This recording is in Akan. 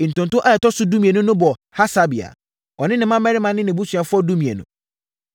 Ntonto a ɛtɔ so dumienu no bɔɔ Hasabia, ɔne ne mmammarima ne nʼabusuafoɔ (12)